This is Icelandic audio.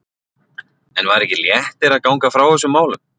En var ekki léttir að ganga frá þessum málum?